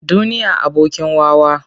Duniya abokin wawa.